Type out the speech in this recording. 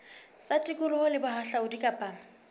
tsa tikoloho le bohahlaudi kapa